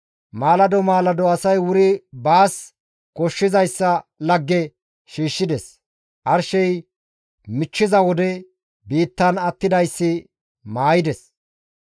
Maalado maalado asay wuri baas koshshizayssa lagge shiishshides; arshey michchiza wode biittan attidayssi maayides.